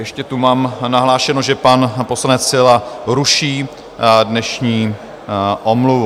Ještě tu mám nahlášeno, že pan poslanec Síla ruší dnešní omluvu.